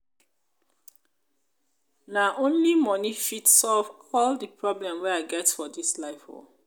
na only moni fit solve all di problem wey i get for dis life oo.